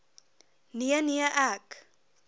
nee nee ek